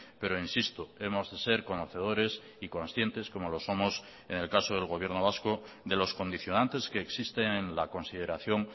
pero insisto hemos de ser conocedores y conscientes como lo somos en el caso del gobierno vasco de los condicionantes que existen en la consideración